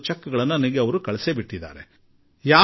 ಆ ಚೆಕ್ ನ್ನು ನಗದಿಗಾಗಿ ಕಳುಹಿಸಿಕೊಡಿ ಎಂದು ಬರೆದರು